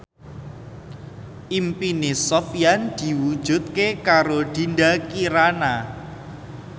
impine Sofyan diwujudke karo Dinda Kirana